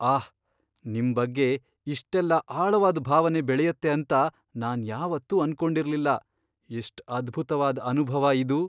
ಆಹ್! ನಿಮ್ ಬಗ್ಗೆ ಇಷ್ಟೆಲ್ಲ ಆಳವಾದ್ ಭಾವನೆ ಬೆಳೆಯತ್ತೆ ಅಂತ ನಾನ್ ಯಾವತ್ತೂ ಅನ್ಕೊಂಡಿರ್ಲಿಲ್ಲ. ಎಷ್ಟ್ ಅದ್ಭುತ್ವಾದ್ ಅನುಭವ ಇದು!